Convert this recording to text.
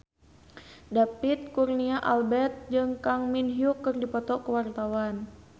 David Kurnia Albert jeung Kang Min Hyuk keur dipoto ku wartawan